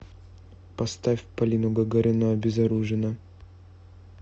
поставь полину гагарину обезоружена